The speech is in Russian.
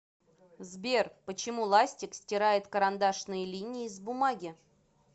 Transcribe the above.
сбер почему ластик стирает карандашные линии с бумаги